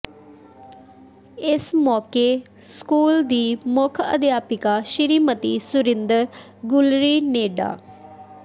ਇਸ ਮੌਕੇ ਸਕੂਲ ਦੀ ਮੁੱਖ ਅਧਿਆਪਕਾ ਸ੍ਰੀਮਤੀ ਸੁਰਿੰਦਰ ਗੁਲਰੀ ਨੇ ਡਾ